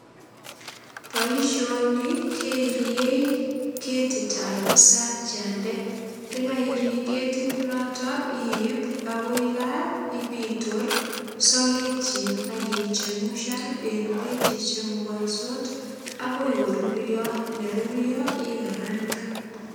Boisioni keiriei ketitab isakiande. Ndokoiri ketit noto iip agoi kaa ipitor sogekyin ak ichemushan en beek che chumukansot agoi korurio. Nerurio ikarangan.